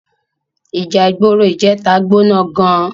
Íjà igbóró ijètá gbóná gán